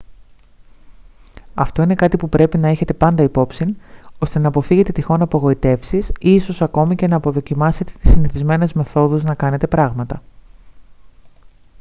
αυτό είναι κάτι που πρέπει να έχετε πάντα υπ' όψιν ώστε να αποφύγετε τυχόν απογοητεύσεις ή ίσως ακόμη και να αποδοκιμάσετε τις συνηθισμένες μεθόδους να κάνετε πράγματα